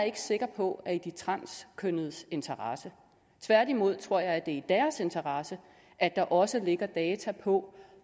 ikke sikker på er i de transkønnedes interesse tværtimod tror jeg at det er i interesse at der også ligger data på